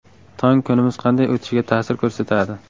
Tong kunimiz qanday o‘tishiga ta’sir ko‘rsatadi.